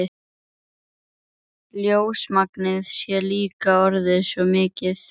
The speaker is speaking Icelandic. Ljósmagnið sé líka orðið svo mikið.